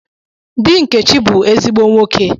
Di Nkechi bu ezigbo nwoke.